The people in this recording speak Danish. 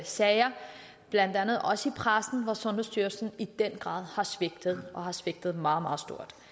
sager blandt andet også i pressen hvor sundhedsstyrelsen i den grad har svigtet har svigtet meget meget